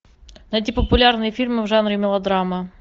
найти популярные фильмы в жанре мелодрама